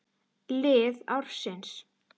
Lið ársins